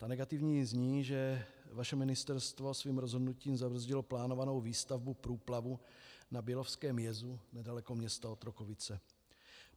Ta negativní zní, že vaše ministerstvo svým rozhodnutím zabrzdilo plánovanou výstavbu průplavu na bělovském jezu nedaleko města Otrokovice.